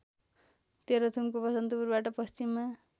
तेह्रथुमको बसन्तपुरबाट पश्चिममा